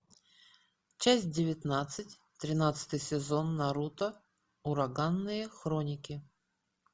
часть девятнадцать тринадцатый сезон наруто ураганные хроники